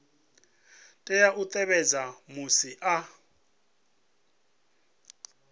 tea u tevhedza musi a